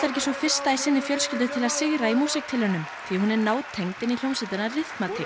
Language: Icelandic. ekki sú fyrsta í sinni fjölskyldu til að sigra í músíktilraunum því hún er nátengd inn í hljómsveitina